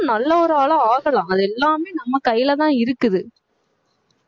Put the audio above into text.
நல்ல ஒரு ஆளா ஆகலாம் அது எல்லாமே நம்ம கையிலதான் இருக்குது